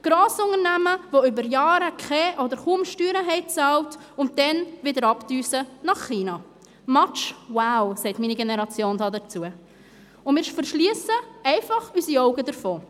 Grossunternehmen, die über Jahre keine oder kaum Steuern bezahlt haben, und dann wieder nach China abdüsen – «match wow», sagt meine Generation dazu –, und wir verschliessen einfach unsere Augen davor.